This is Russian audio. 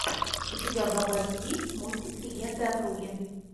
у тебя в запасе есть мультик легенда о круге